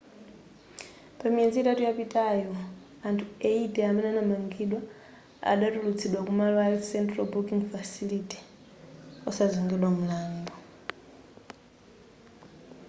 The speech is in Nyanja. pa miyezi itatu yapitayo anthu 80 amene adamangidwa adatulutsidwa ku malo a central booking facility wosazengedwa mlandu